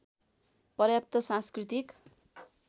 पर्याप्त सांस्कृतिक